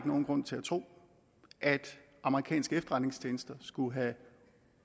nogen grund til at tro at amerikanske efterretningstjenester skulle have